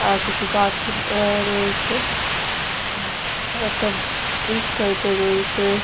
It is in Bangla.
আ কিছু গাছ আ রয়েছে উম একটা ব্রিজ টাইপ -এর রয়েছে।